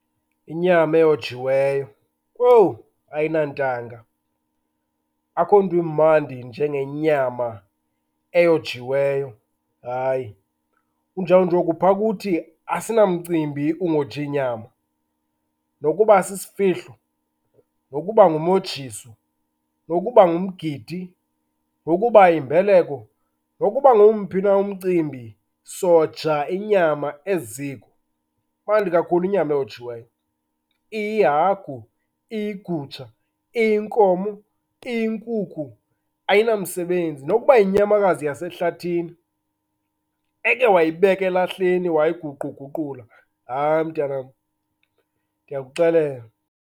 Inyama eyojiweyo, koowu ayinantanga. Akukho nto imandi njengenyama eyojiweyo, hayi. Kunjawunje oku, phaa kuthi asinamcimbi ungoji nyama. Nokuba sisifihlo, nokuba ngumojiso, nokuba ngumgidi, nokuba yimbeleko nokuba ngomphi na umcimbi soja inyama eziko. Imandi kakhulu inyama eyojiweyo, iyihagu, iyigutsha, iyinkomo, iyinkukhu, ayinamsebenzi. Nokuba yinyamakazi yasehlathini, eke wayibeka elahleni wayiguquguqula, hayi mntanam, ndiyakuxelela.